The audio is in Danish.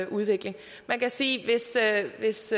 udvikling man kan sige at hvis